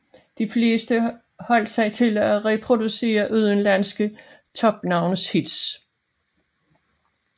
De fleste holdt sig til at reproducere udenlandske topnavnes hits